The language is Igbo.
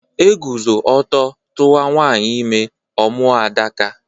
Eguzo ọtọ tuwa nwanyị ime, ọ mụọ Adaka